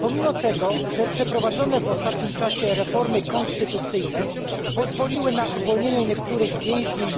Pomimo tego, że przeprowadzone w ostatnim czasie reformy konstytucyjne pozwoliły na uwolnienie niektórych więźniów,